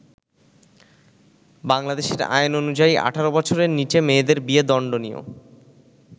বাংলাদেশের আইন অনুযায়ী, ১৮ বছরের নিচে মেয়েদের বিয়ে দণ্ডনীয়।